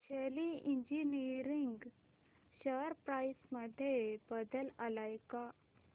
शेली engineering share price मध्ये बदल आलाय का